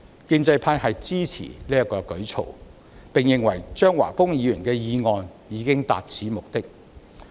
建制派支持這個舉措，並認為張華峰議員的議案已達此目的。